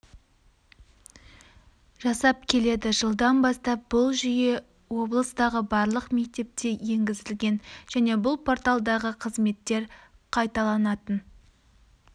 жасап келеді жылдан бастап бұл жүйе облыстағы барлық мектепте енгізілген және бұл порталдағы қызметтер қайталанатын